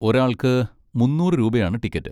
ഒരാൾക്ക് മുന്നൂറ് രൂപയാണ് ടിക്കറ്റ്.